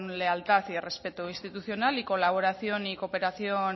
lealtad y respeto institucional y colaboración y cooperación